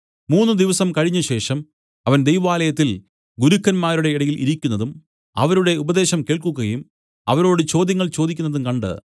മൂന്നുദിവസം കഴിഞ്ഞശേഷം അവൻ ദൈവാലയത്തിൽ ഗുരുക്കന്മാരുടെ ഇടയിൽ ഇരിക്കുന്നതും അവരുടെ ഉപദേശം കേൾക്കുകയും അവരോട് ചോദ്യങ്ങൾ ചോദിക്കുന്നതും കണ്ട്